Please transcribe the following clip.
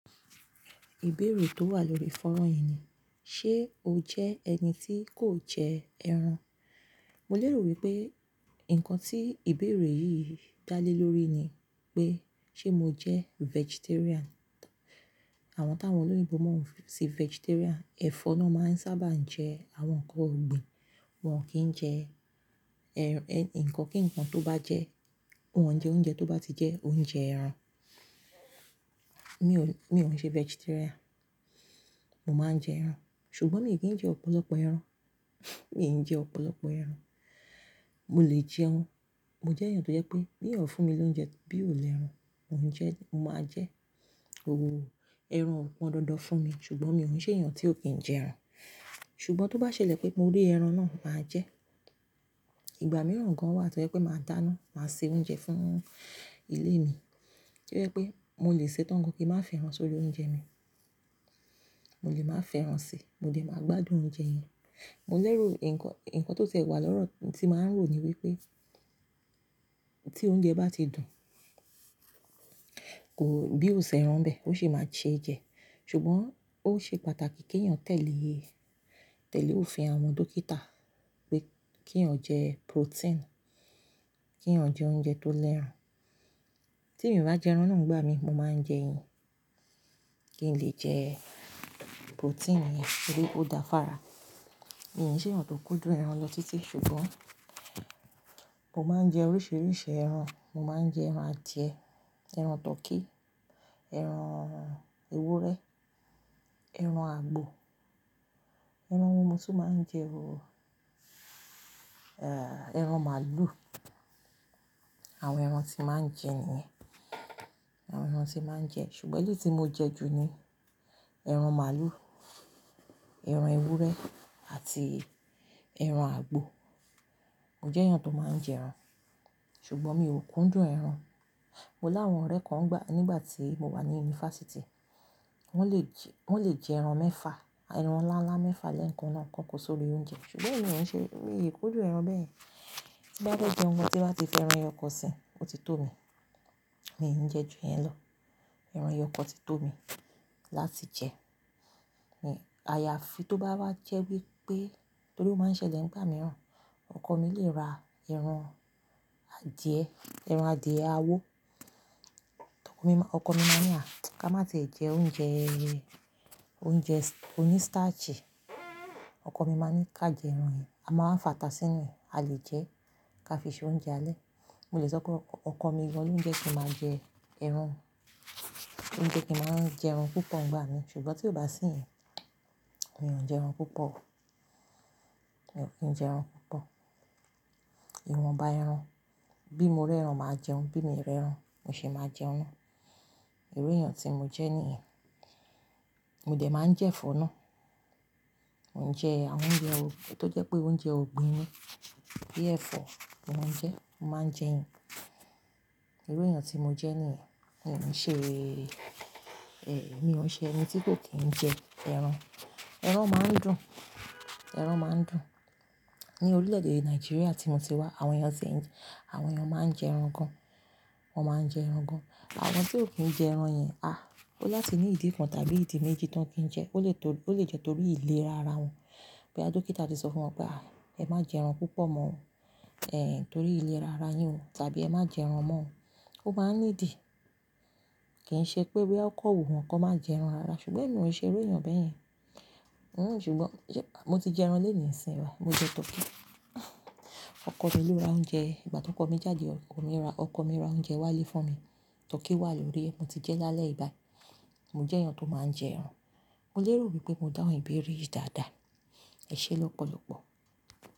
Ìbéèrè tó wà lórí fónrán yìí ni, ṣe o jẹ́ ẹni tí kò jẹ ẹran? Mo lè rò wípé nǹkan tí ìbéèrè yìí dá lé lórí ni pé ṣe mo jẹ́ vegetarian? Àwọn táwọn olóyìnbo mọ sí vegetarian, ẹ̀fọ́ náà máa ń sábà ń jẹ àwọn ǹkan ọ̀gbìn, wọ́n kìí jẹ, ẹ̀, nǹkan kí nǹkan tó bá jẹ́, wọ́n jẹ oúnjẹ tó bá ti jẹ́ oúnjẹ ẹran. Mi ò n ṣe vegetarian. Mo máa ń jẹ ẹran, ṣùgbọ́n mi ò kí ń jẹ ọ̀pọ̀lọpọ̀ ẹran. Mi ò ń jẹ ọ̀pọ̀lọpọ̀ ẹran. Mọ lè jẹun. Mọ jẹ́ èèyàn tó jẹ́ pé bí èèyàn fún mi lóúnjẹ bí ò lẹ́ran, mọ ń jẹ́, mọ máa jẹ́. Oo, ẹran ò pọn dandan fún mi ṣùgbọ́n mi ò ń ṣe èèyàn tí ò kí ń jẹ ẹran. Ṣùgbọ́n tó bá ṣẹlẹ̀ pé mo rí ẹran náà, màá jẹ́. Ìgbà mìíràn gan wà tó jẹ́ pé màá dáná, màá se oúnjẹ fún ilé mi, tó jẹ́ pé mọ lè sè tọ́ń gán kí n má fẹ́ran sórí oúnjẹ mi. Mọ lè má fẹ́ran si, mọ dè máa gbádùn oúnjẹ yẹn. Mo lè rò nǹkan, nǹkan tó tiẹ wà lọ́rọ̀ tí màá ń rò ni wípé tí oúnjẹ bá ti dùn, kò, bí ó sí ẹrán bẹ́ẹ̀, ó ṣì máa ṣe jẹ. Ṣùgbọ́n ó ṣe pàtàkì kí èèyàn tẹ̀lé, tẹ̀lé òfin àwọn dókítà pé kí èèyàn jẹ protein, kí èèyàn jẹ oúnjẹ tó lẹ́ran. Tí mi ọ bá jẹ ẹran náà igbá mi, mo máa ń jẹ eyin, kí n lè jẹ protein ni torí ó dá fara. Mi ò ṣe èèyàn tó kúndùn ẹran lọ títí ṣùgbọ́n, mo máa ń jẹ oríṣiríṣi ẹran. Mo máa ń jẹ ẹran adìẹ, ẹran tọkí, ẹran ewúrẹ́, ẹran àgbò, ẹran wò mó tún máa ń jẹ oo. Ẹran màlúù. Àwọn ẹran tí màá ń jẹ nìyẹn. Àwọn ẹran tí màá ń jẹ, ṣùgbọ́n èleyíi tí mo jẹ jù ní ẹran màlúù, ẹran ewúrẹ́ àti ẹran àgbò. Mo jẹ́ èèyàn tó máa ń jẹ ẹran, ṣùgbọ́n mi ò kúndùn ẹran. Mo lá àwọn ọ̀rẹ́ kan nígbà tí mo wà ní yunifásítì. Wọ́n lè jẹ, wọ́n lè jẹ ẹran mẹ́fa, ẹran ńlá ńlá mẹ́fa lẹ́ẹ̀kan náà kàn kò sórí oúnjẹ, ṣùgbọ́n mi ò ṣe, mi ò kúndùn ẹran bẹ́yen. Ti bá fẹ́ jẹun gan tí bá ti fi ẹran ẹyọkan sí, ó ti tó mi. Mí n jẹ́ jù iyẹn lọ. Ẹran yọ kọ ti tó mi láti jẹ. Ni àyàfi tó bá wá jẹ́ wípé torí ó máa ń ṣẹlẹ̀ nígbà mìíràn, ọkọ mi lè ra ẹran adìẹ, ẹran adìẹ àwó, ọkọ mi máa ní á ká má tìẹ jẹ oúnjẹ, oúnjẹ oní starch. Ọkọ mi máa ní ká jẹ ẹran yìí, a máa wá fàtà sínú ẹ̀, a lè jẹ ká fi ṣe oúnjẹ alẹ́. Mọ lè sọ pé ọkọ mi gan lóúnjẹ kí máa ń jẹ ẹran, lóúnjẹ kí máa ń jẹ ẹran púpọ̀ ígbá mi ṣùgbọ́n tí ó bá sí yẹn, mi ò ń jẹ ẹran púpọ̀. Mi ò kí ń jẹ ẹran púpọ̀. Ìwọ̀nba ẹran, bí mo rẹ́ran màá jẹun, bí mi rẹ́ran, mo ṣì máa jẹun. Irú èèyàn tí mọ jẹ́ nìyẹn. Mọ dẹ̀ máa ń jẹ ẹfọ́ náà. Mọ ń jẹ àwọn oúnjẹ tó jẹ́ pé oúnjẹ ọ̀gbìn ni. Bíi ẹ̀fọ́, mo máa ń jẹ, mo máa ń jẹ ẹyin. Irú èèyàn tí mo jẹ́ nìyẹn. Mi ò ṣe, eh, mi ò ń ṣe ẹni tí kò kí ń jẹ ẹran. Ẹran máa ń dùn. Ẹran máa ń dùn. Ni orílẹ̀-èdè Nàìjíríà tí mo ti wá, àwọn èèyàn ti ń, àwọn èèyàn máa ń jẹ ẹran gan. Wọ́n máa ń jẹ ẹran gán. Àwọn tí ò kí ń jẹ ẹran yẹn, à, ó láti ní ìdí kàn tàbí ìdí méjì tán kí ń jẹ. Ó lè jẹ́ torí ìlera ara wọn. Bóyá dókítà ti sọ fún wọn pé, "à, ẹ má jẹ ẹran púpọ̀ mọ́ oo, eh, torí ìlera ará yín o tàbí ẹ má jẹ ẹran mọ́ oo". Ó máa ní ìdí. Kìí ṣe pé bóyá kọ́ wunwo kọ máa jẹ ẹran rara ṣùgbọ́n èmi ò ṣe irú èèyàn bẹ́ yẹn. Ṣùgbọ́n mọ ti jẹ ẹran lónìí sìn báyìí. Mo jẹ tọkí. Ọkọ mi ló ra oúnjẹ. Igbà tí ọkọ mi jáde, ọkọ mi ra, ọkọ mi ra oúnjẹ wálé fún mi. Tọkí wà lórí è mo ti jẹ́ lálẹ́ yìí báyìí. Mo jẹ́ èèyàn tó máa ń jẹ ẹran. Mo lè rò wípé mo dáhùn ìbéèrè yìí dáadáa. Ẹ ṣé lọ́pọ̀lọpọ̀.